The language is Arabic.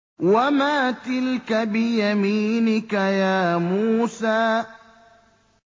وَمَا تِلْكَ بِيَمِينِكَ يَا مُوسَىٰ